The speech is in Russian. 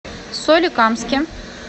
соликамске